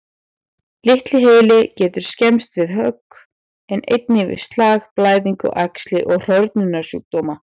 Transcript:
Litli heili getur skemmst við högg, en einnig við slag, blæðingu, æxli og hrörnunarsjúkdóma.